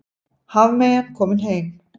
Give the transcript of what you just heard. Hafmeyjan komin heim